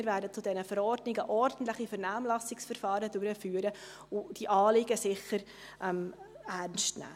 Wir werden zu diesen Verordnungen ordentliche Vernehmlassungsverfahren durchführen und diese Anliegen sicher ernstnehmen.